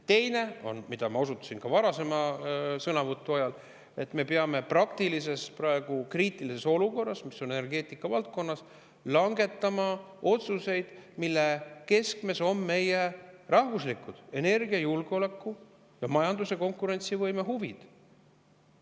Teine, millele ma osutasin ka varasema sõnavõtu ajal: me peame praeguses kriitilises olukorras, mis energeetika valdkonnas on, langetama otsuseid, mille keskmes on meie rahvuslikud, energiajulgeoleku ja majanduse konkurentsivõime huvid.